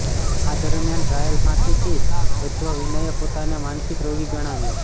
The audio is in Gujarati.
આ દરમિયાન ટ્રાયલ ફાંસીથી બચવા વિનયે પોતાને માનસિક રોગી ગણાવ્યો